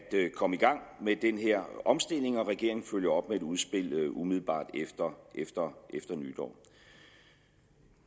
komme i gang med den her omstilling og regeringen følger op med et udspil umiddelbart efter nytår